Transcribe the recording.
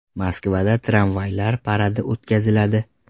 Moskvada tramvaylar paradi o‘tkaziladi.